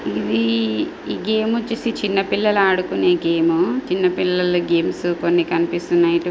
ఇవీ ఏ గేమ్చేసి చిన్న పిల్లల్ ఆడుకునే గేము చిన్న పిల్లల గేమ్స్ కొన్ని కనిపిస్తున్నాయ్ ట్--